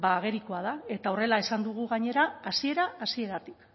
ba agerikoa da eta horrela esan dugu gainera hasiera hasieratik